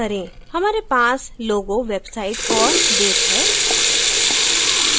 हमारे पास logo website औऱ date है